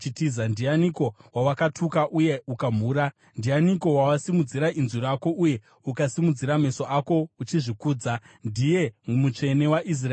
Ndianiko wawatuka uye ukamhura? Ndianiko wawasimudzira inzwi rako, uye ukasimudzira meso ako uchizvikudza? Ndiye Mutsvene waIsraeri!